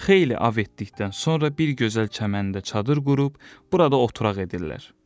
Xeyli ov etdikdən sonra bir gözəl çəməndə çadır qurub burada oturaq edirlər.